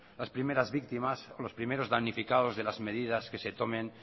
las primeras víctimas los primeros damnificados de las medidas que se tomen